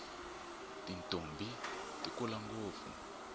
tintombhi ti kula ngopfu